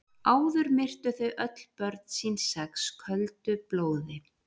Áður myrtu þau öll börn sín sex köldu blóði.